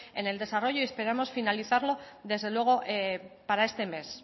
en el desarrollo y esperamos finalizarlo desde luego para este mes